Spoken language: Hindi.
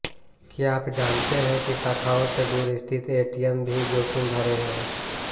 क्या आप जानते हैं कि शाखाओं से दूर स्थित एटीएम भी जोखिम भरे हैं